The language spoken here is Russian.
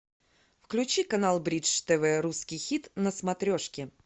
включи канал бридж тв русский хит на смотрешке